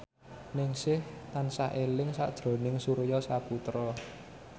Ningsih tansah eling sakjroning Surya Saputra